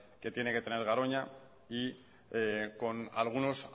que tiene que tener garoña y con algunos